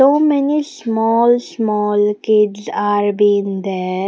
So many small small kids are been there.